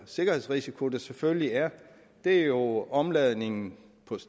sikkerhedsrisiko der selvfølgelig er er jo omladningen